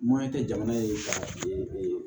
Mɔɲɛ tɛ jamana ye ka